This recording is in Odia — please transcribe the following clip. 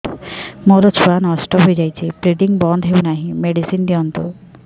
ମୋର ଛୁଆ ନଷ୍ଟ ହୋଇଯାଇଛି ବ୍ଲିଡ଼ିଙ୍ଗ ବନ୍ଦ ହଉନାହିଁ ମେଡିସିନ ଦିଅନ୍ତୁ